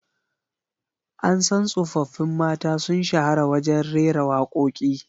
An san tsoffin mata sun shahara wajen rera wakoki